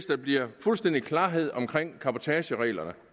der bliver fuldstændig klarhed omkring cabotagereglerne